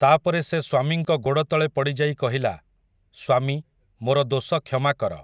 ତା'ପରେ ସେ ସ୍ୱାମୀଙ୍କ ଗୋଡ଼ତଳେ ପଡ଼ିଯାଇ କହିଲା, ସ୍ୱାମୀ, ମୋର ଦୋଷ କ୍ଷମାକର ।